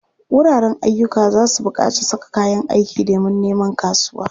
Wuraren ayyuka za su buƙaci saka kayan aiki domin neman kasuwa.